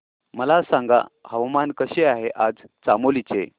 मला सांगा हवामान कसे आहे आज चामोली चे